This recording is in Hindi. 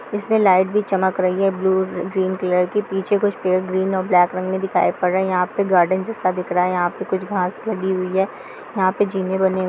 इसमें लाइट भी चमक रही है ब्लू ग्रीन कलर की। पीछे कुछ पेड़ ग्रीन और ब्लाक रंग मे दिखाई पर रहे हैं। यहाँ पे गार्डन जैसा दिख रहा है। यहाँ पे कुछ घांस लगी हुई है। यहाँ पे जीने बने हुए हैं।